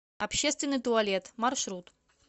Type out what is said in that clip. общественный туалет маршрут